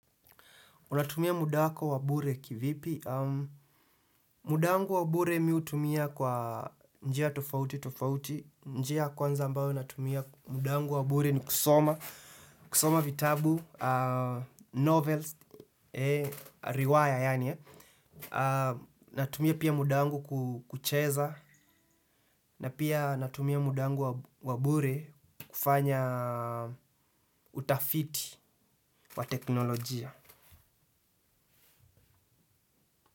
Unatumia muda wako wa bure kivipi? Muda wangu wa bure mi hutumia kwa njia tofauti tofauti. Njia kwanza ambayo natumia muda wangu wa bure ni kusoma. Kusoma vitabu, ahh, novels, ehh riwaya yani. Ahh, natumia pia mudangu kucheza. Na pia natumia muda wangu wa bure kufanya utafiti wa teknolojia.